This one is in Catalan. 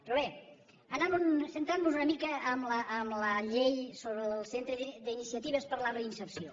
però bé centremnos una mica en la llei sobre el centre d’iniciatives per a la reinserció